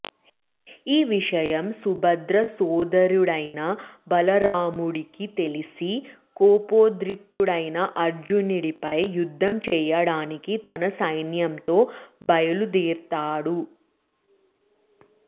ఈ విషయం సుభద్ర సోదరుడైన బలరాముడుకి తెలిసి కోపోద్రిక్తుడై అర్జునుడిపై యుద్ధం చేయడానికి తన సైన్యంతో బయలుదేరతాడు